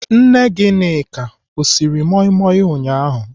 Nne Gịnịka ọ siri moi moi ụnyaahụ?